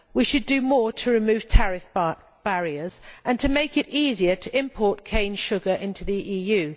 We should do more to reduce tariff barriers and to make it easier to import cane sugar into the EU.